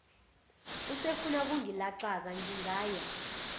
usefuna ukungilaxaza ngingaya